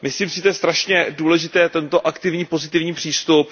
Myslím si, že je důležitý tento aktivní pozitivní přístup.